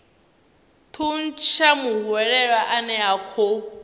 thuntsha muhwelelwa ane a khou